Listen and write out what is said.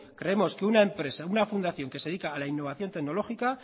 creemos que una empresa una fundación que se dedica a la innovación tecnológica